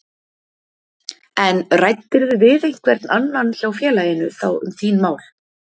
En ræddirðu við einhvern annan hjá félaginu þá um þín mál?